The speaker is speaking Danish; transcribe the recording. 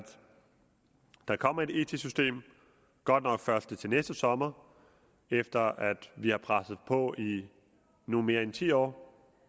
der kommer et etisk system godt nok først til næste sommer efter at vi har presset på i nu mere end ti år